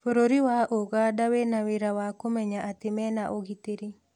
Bũrũri wa ũganda wĩna wĩra wa kũmenya atĩ mena ugĩtĩri